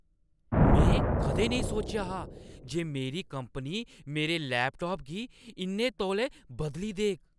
में कदें नेईं सोचेआ हा जे मेरी कंपनी मेरे लैपटाप गी इन्ने तौले बदली देग!